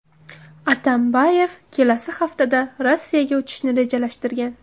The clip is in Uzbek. Atambayev kelasi haftada Rossiyaga uchishni rejalashtirgan.